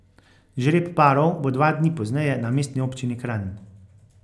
Žreb parov bo dva dni pozneje na Mestni občini Kranj.